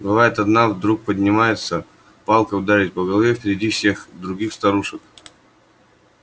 бывает одна вдруг поднимается палка ударит по голове впереди всех других старушек